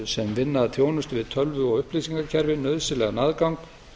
sem vinna að þjónustu við tölvu og upplýsingakerfi nauðsynlegan aðgang